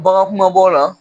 Bagan kumabaw la